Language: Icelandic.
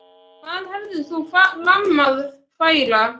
Hvað hefur þú fram að færa?